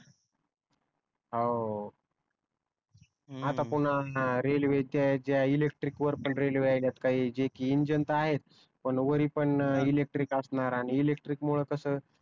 हो आता पुन्हा रेलवे च्या याच्या इलेक्ट्रीक वर पण रेल्वे यायलात काही जे कि इंजिन त आहेच पण वरी पण इलेक्ट्रिक असणार आणि इलेक्ट्रिक मुळे कस